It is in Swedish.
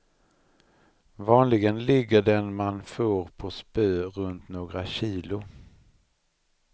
Vanligen ligger den man får på spö runt några kilo.